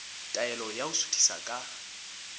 taelo ya ho suthisa ka